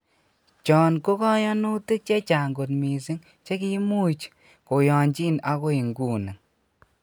Chon ko koyonutik chechang kot missing chi kiimuch koyonjin agoi nguni